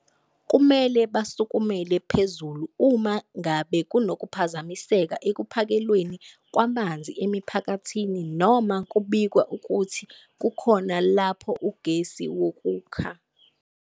Kumele basukumele phezulu uma ngabe kunokuphazamiseka ekuphakelweni kwamanzi emiphakathini noma kubikwa ukuthi kukhona lapho ugesi wokukha.